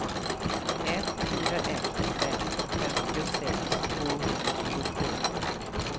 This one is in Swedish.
ett fyra ett fem femtiosex tvåhundratjugotvå